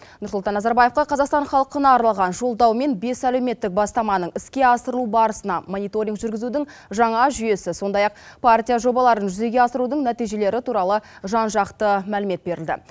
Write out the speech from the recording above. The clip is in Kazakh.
нұрсұлтан назарбаевқа қазақстан халқына арналған жолдау мен бес әлеуметтік бастаманың іске асырылу барысына мониторинг жүргізудің жаңа жүйесі сондай ақ партия жобаларын жүзеге асырудың нәтижелері туралы жан жақты мәлімет берілді